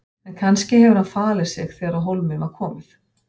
En kannski hefur hann falið sig þegar á hólminn var komið.